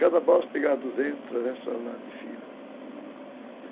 Cada balsa pegava duzentos, trezentos toneladas de fibra, uhum.